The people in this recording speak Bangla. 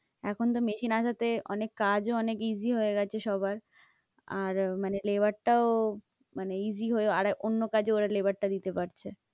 এখন তো machine আসাতে অনেক কাজও অনেক easy হয়ে গেছে সবার আর মানে labour টাও মানে easy হয়ে আর অন্য কাজে ওরা labour টা দিতে পারছে।